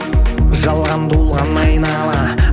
жалған толған айнала